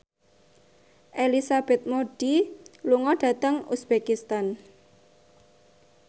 Elizabeth Moody lunga dhateng uzbekistan